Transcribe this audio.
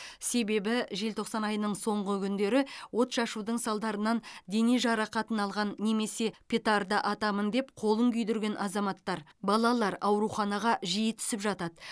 себебі желтоқсан айының соңғы күндері отшашудың салдарынан дене жарақатын алған немесе петарда атамын деп қолын күйдірген азаматтар балалар ауруханаға жиі түсіп жатады